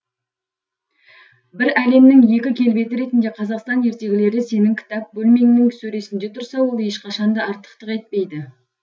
бір әлемнің екі келбеті ретінде қазақстан ертегілері сенің кітап бөлмеңнің сөресінде тұрса ол ешқашан да артықтық етпейді